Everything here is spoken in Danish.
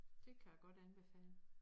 Det kan jeg godt anbefale